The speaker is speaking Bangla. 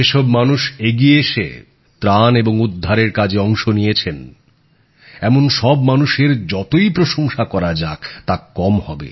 যে সব মানুষ এগিয়ে এসে ত্রাণ আর উদ্ধারের কাজে অংশ নিয়েছেন এমন সব মানুষের যতই প্রশংসা করা যাক তা কম হবে